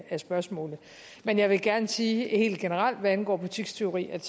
spørgsmålet men jeg vil gerne sige helt generelt hvad angår butikstyveri at